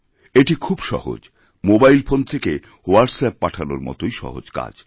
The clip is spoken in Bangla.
এটি খুব সহজ মোবাইল ফোন থেকে হোয়াটস্ অ্যাপ পাঠানোর মতই সহজকাজ